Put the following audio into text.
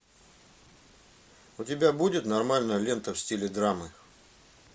у тебя будет нормальная лента в стиле драмы